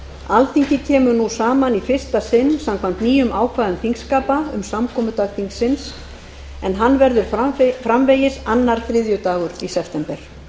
alþingi kemur nú saman í fyrsta sinn samkvæmt nýjum ákvæðum þingskapa um samkomudag þingsins en hann verður framvegis annar þriðjudagur í september